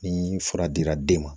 Ni fura dira den ma